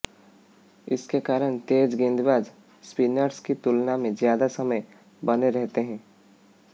इसके कारण तेज गेंदबाज स्पिनर्स की तुलना में ज्यादा समय बने रहते हैं